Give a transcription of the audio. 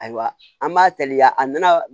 Ayiwa an b'a teliya a nana